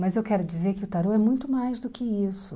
Mas eu quero dizer que o tarô é muito mais do que isso.